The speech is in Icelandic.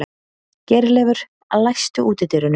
Geirleifur, læstu útidyrunum.